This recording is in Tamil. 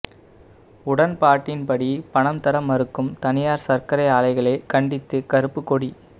உடன்பாட்டின்படி பணம் தர மறுக்கும் தனியார் சர்க்கரை ஆலைகளை கண்டித்து கருப்புக் கொடி